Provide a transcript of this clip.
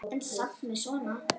En samt með svona.